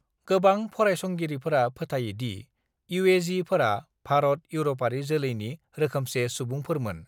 गोबां फरायसंगिरिफोरा फोथायो दि इउएझीफोरा भारत-इउर'पआरि जोलैनि रोखोमसे सुबुंफोरमोन।